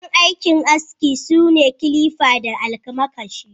Kayan aikin aski sune kilifa da almakashi.